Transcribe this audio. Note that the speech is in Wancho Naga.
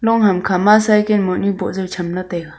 long ham khama cycle mohnu boh jaw tham taiga.